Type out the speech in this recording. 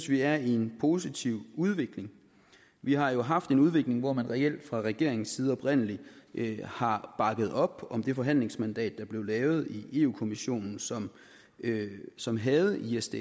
vi er i en positiv udvikling vi har jo haft en udvikling hvor man reelt fra regeringens side oprindelig har bakket op om det forhandlingsmandat der blev givet i europa kommissionen som som havde isds